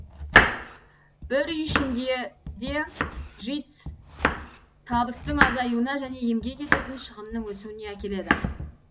бір үй ішінде де житс табыстың азаюына және емге кететін шығынның өсуіне әкеледі